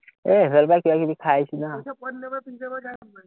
এৰ ইফা-সিফাল কিবা-কিবি খাই আহিছো না